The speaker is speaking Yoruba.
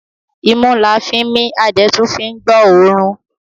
Imú la fín mí a dẹ̀ tún fín gbọ́ ọ̀ọ́rùn.